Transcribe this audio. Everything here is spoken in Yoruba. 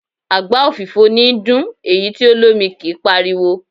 Àgbá òfìfo níí dún, èyí tí o lómi kí páriwo.